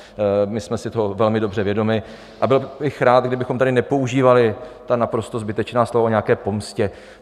My jsme si toho velmi dobře vědomi a byl bych rád, kdybychom tady nepoužívali ta naprosto zbytečná slova o nějaké pomstě.